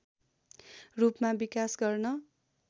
रूपमा विकास गर्न